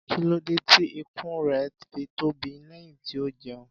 Kí ló dé tí ikùn rẹ̀ fi tóbi lẹ́yìn tí ó jẹun?